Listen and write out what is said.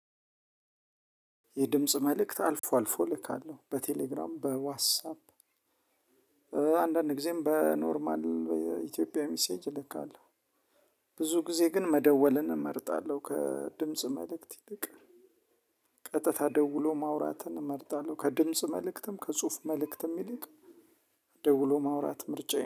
የድምጽ መልእክት አልፎ አልፎ እልካለሁ በቴሌግራም በዋትሳፕ አንዳንድ ጊዜም በኖርማል ኢትዮጵያ ሚሴጅ እልካካለው። ብዙ ጊዜ ግን መደወልን እመርጣለሁ ከድምጽ መልእክት ይልቅ። ቀጥታ ደውሎ ማውራትን እመርጣለሁ ከድምጽ መልእክትም ከጽሁፍ መልእክትም ይልቅ ደውሎ ማውራት ምርጫዬ ነው